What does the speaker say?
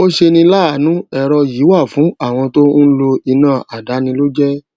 ó ṣeni láàánú èrọ yìí wà fún àwọn tó n lo iná aldàáni lójé